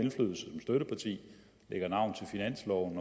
lægger navn til finansloven